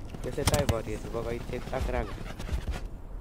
tesetai poriet nepo gaitiek ak Raqqa